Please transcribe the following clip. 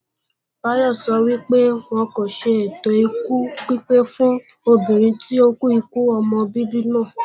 Bayo sọ wípé, wọn kò ṣe ètòkú pípé fún obìnrin tó kú ikú ọmọ bíbí náà